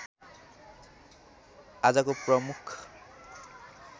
आजको प्रमुख